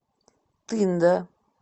тында